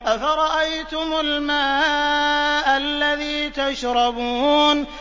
أَفَرَأَيْتُمُ الْمَاءَ الَّذِي تَشْرَبُونَ